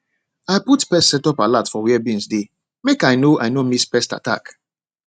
i put pest setup alert for where beans dey make i no i no miss pest attack